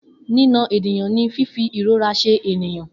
Nina ènìyàn ní fífi ìrora ṣe ènìyàn